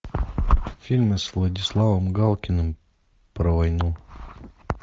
фильмы с владиславом галкиным про войну